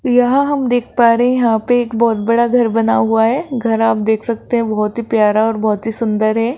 यहां हम देख पा रहे हैं यहां पे एक बहोत बड़ा घर बना हुआ है घर आप देख सकते हैं बहोत ही प्यार और बहोत ही सुंदर है।